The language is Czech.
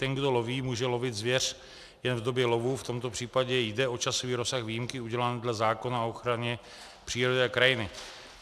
Ten, kdo loví, může lovit zvěř jen v době lovu, v tomto případě jde o časový rozsah výjimky udělen dle zákona o ochraně přírody a krajiny.